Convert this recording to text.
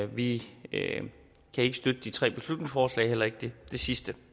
vi kan ikke støtte de tre beslutningsforslag og heller ikke det sidste